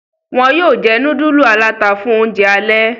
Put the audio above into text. Wón yóò jé nudulu alata fún oúnjẹ alè.